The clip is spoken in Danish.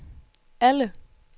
alle